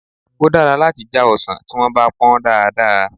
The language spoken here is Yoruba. Ó dára láti já ọsàn tí wọ́n bá pọ́n dáadáa.